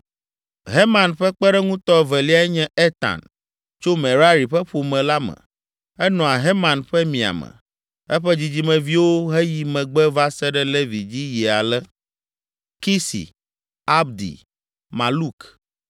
Heman ƒe kpeɖeŋutɔ eveliae nye Etan, tso Merari ƒe ƒome la me. Enɔa Heman ƒe miame. Eƒe dzidzimeviwo heyi megbe va se ɖe Levi dzi yi ale: Kisi, Abdi, Maluk,